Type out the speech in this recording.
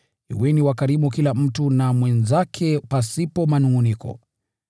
Kuweni wakarimu kila mtu na mwenzake pasipo manungʼuniko.